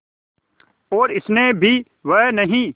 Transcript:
और स्नेह भी वह नहीं